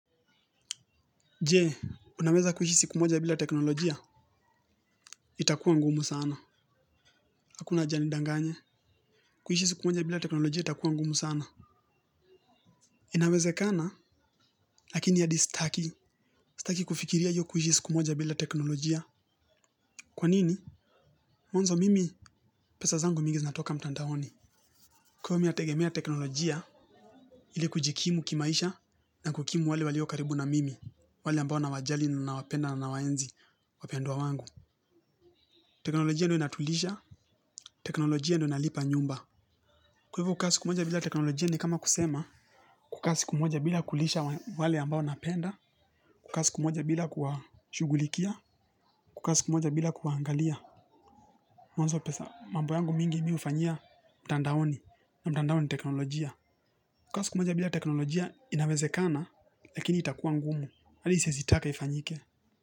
Jee, unaweza kuishi siku moja bila teknolojia? Itakuwa ngumu sana. Hakuna haja nidanganye. Kuishi siku moja bila teknolojia itakuwa ngumu sana. Inawezekana, lakini hadi staki. Staki kufikiria hiyo kuishi siku moja bila teknolojia. Kwa nini? Mwanzo mimi pesa zangu mingi zinatoka mtandaoni. Kwaio mimi nategemea teknolojia ili kujikimu kimaisha na kukimu wale walio karibu na mimi. Wale ambao nawajali nawapenda na nawaenzi wapendwa wangu. Teknolojia ndo inatulisha. Teknolojia ndo inalipa nyumba. Kwa hivo kukaa siku moja bila teknolojia ni kama kusema. Kukaa siku moja bila kulisha wale ambao napenda. Kukaa siku moja bila kuwashughulikia. Kukaa siku moja bila kuwaangalia. Mwanzo pesa mambo yangu mingi mimi hufanyia mtandaoni na mtandao ni teknolojia. Kukaa siku moja bila teknolojia inawezekana lakini itakuwa ngumu. Hili siezi taka ifanyike.